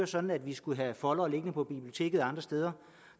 sådan at vi skulle have foldere liggende på biblioteket eller andre steder